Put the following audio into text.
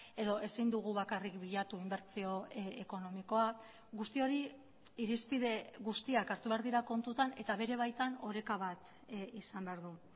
edo ezin dugu bakarrik bilatu inbertsio ekonomikoa guzti hori irizpide guztiak hartu behar dira kontutan eta bere baitan oreka bat izan behar du